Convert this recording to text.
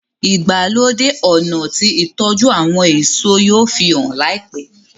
ìgbàlódé ọnà tí ìtọjú àwọn èso yóò fihàn láìpé.